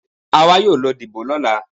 Àwa yóò lọ dìbò lọ́la.